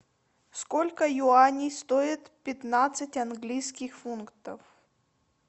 сколько юаней стоит пятнадцать английских фунтов